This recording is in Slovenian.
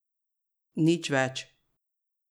Nič več.